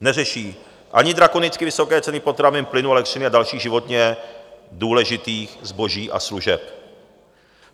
Neřeší ani drakonicky vysoké ceny potravin, plynu, elektřiny a dalších životně důležitých zboží a služeb.